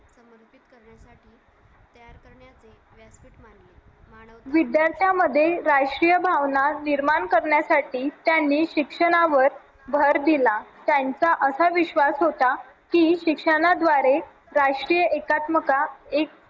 विद्यार्थ्यांमध्ये राष्ट्रीय भावना निर्माण करण्यासाठी त्यांनी शिक्षणावर भर दिला त्यांचा असा विश्वास होता की शिक्षणाद्वारे राष्ट्रीय एकात्मता